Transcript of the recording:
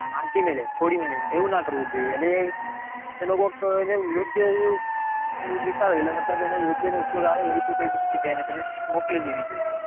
હંચી મેંલે છોડી મેંલે એવું ના કરવું જોઈએ એન એનો કોક યોગ્ય મતલબ એને યોગ્ય ને ઉપયોગ આવે એ રીતે બીજી જગ્યાય તમે એને મોકલી દેવી જોઈએ